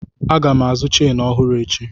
Aga m azụ cheenụ ọhụrụ echi.